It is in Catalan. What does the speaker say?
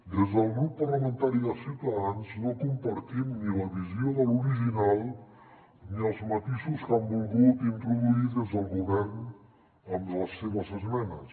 des del grup parlamentari de ciutadans no compartim ni la visió de l’original ni els matisos que han volgut introduir des del govern amb les seves esmenes